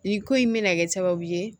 Nin ko in bɛna kɛ sababu ye